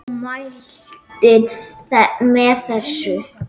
Sólveig: Þú mælir með þessu?